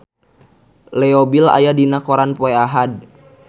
Leo Bill aya dina koran poe Ahad